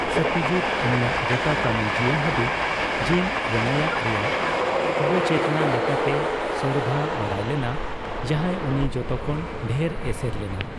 ᱥᱚᱛᱭᱚᱡᱤᱛ ᱩᱱᱤᱭᱟᱜ ᱜᱚᱴᱟ ᱠᱟᱹᱢᱤ ᱡᱤᱣᱚᱱ ᱦᱟᱹᱵᱤᱡ ᱡᱤᱱ ᱨᱮᱱᱚᱭᱟᱠ ᱨᱮᱭᱟᱜ ᱚᱵᱪᱮᱛᱱᱟ ᱞᱮᱠᱟᱛᱮ ᱥᱚᱨᱫᱷᱟ ᱵᱟᱰᱟᱭ ᱞᱮᱱᱟ, ᱡᱟᱦᱟᱸᱭ ᱩᱱᱤ ᱡᱚᱛᱚᱠᱷᱚᱱ ᱰᱷᱮᱨ ᱮᱥᱮᱨ ᱞᱮᱱᱟ ᱾